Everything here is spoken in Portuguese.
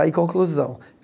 Aí, conclusão.